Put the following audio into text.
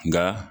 Nka